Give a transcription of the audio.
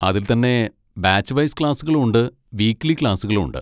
അതിൽ തന്നെ batch wise ക്ലാസ്സുകളും ഉണ്ട്, വീക്കിലി ക്ലാസ്സുകളും ഉണ്ട്.